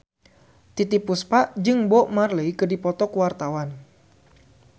Titiek Puspa jeung Bob Marley keur dipoto ku wartawan